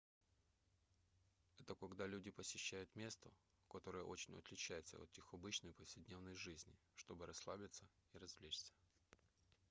это когда люди посещают место которое очень отличается от их обычной повседневной жизни чтобы расслабиться и развлечься